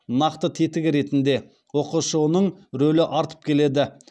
нақты тетігі ретінде ұқшұ ның рөлі артып келеді